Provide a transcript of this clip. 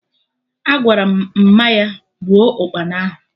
Agwaram Mma ya gbuo Ụkpana ahụ